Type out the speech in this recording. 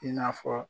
I n'a fɔ